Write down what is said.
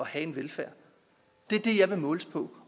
have en velfærd det er det jeg vil måles på